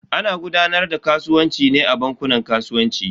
Ana gudanar da kasuwanci ne a bankunan kasuwanci.